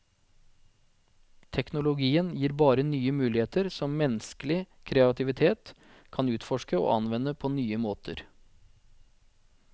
Teknologien gir bare nye muligheter som menneskelig kreativitet kan utforske og anvende på nye måter.